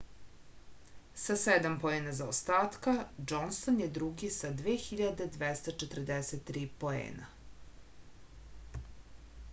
sa sedam poena zaostatka džonson je drugi sa 2243 poena